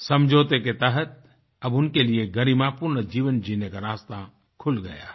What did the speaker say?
समझौते के तहत अब उनके लिए गरिमापूर्ण जीवन जीने का रास्ता खुल गया है